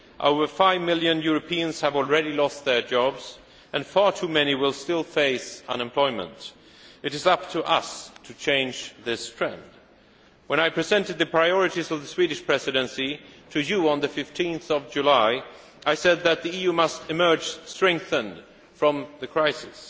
Over five million Europeans have already lost their jobs, and far too many will still face unemployment. It is up to us to change this trend. When I presented the priorities of the Swedish Presidency to you on 15 July, I said that the EU must emerge strengthened from the crisis.